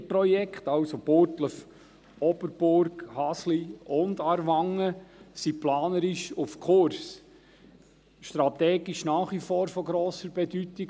Beide Projekte, also Burgdorf-Oberburg-Hasle und Aarwangen, sind planerisch auf Kurs und strategisch nach wie vor von grosser Bedeutung.